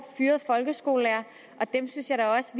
fyrede folkeskolelærere og jeg synes da også